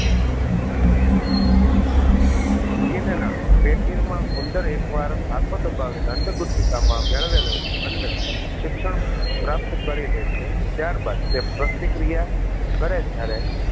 ના કેદીર માં ઉંદર એકવાર હાથો દબાવીને અન્નગુથીકા માં મેળવેલ અન્ન શિક્ષણ પ્રાપ્ત કરીલે છે ત્યારબાદ તે પ્રતિક્રિયા કરે જ્યારે